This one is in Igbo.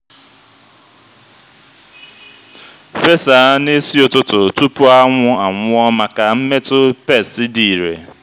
fesa n'isi ụtụtụ tupu anwụ anwụọ maka mmetụ pesti dị irè.